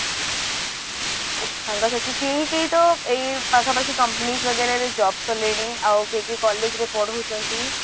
ସାଙ୍ଗ ସାଥି କେହି କେହି ତ ଏଇ ପାଖ ପାଖି companies ବଗେରାରେ job କଲେଣି ଆଉ କିଏ କିଏ college ରେ ପଢଉଛନ୍ତି